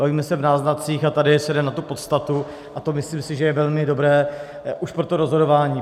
Bavíme se v náznacích a tady se jde na tu podstatu a to si myslím, že je velmi dobré už pro to rozhodování.